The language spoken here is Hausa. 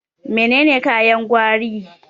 Menene kayan gwari?